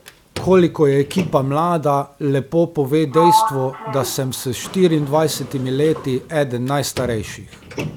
Koliko je ekipa mlada, lepo pove dejstvo, da sem s štiriindvajsetimi leti eden najstarejših.